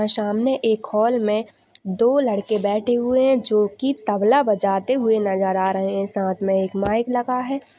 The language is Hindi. सामने एक हाल में दो लड़के बैठे हुए हैं जो की तबला बजाते हुए नजर आ रहे हैं साथ में एक माइक लगा है।